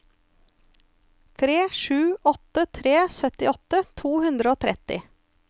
tre sju åtte tre syttiåtte to hundre og tretti